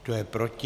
Kdo je proti?